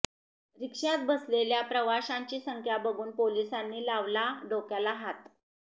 रिक्षात बसलेल्या प्रवाशांची संख्या बघून पोलिसांनी लावला डोक्याला हात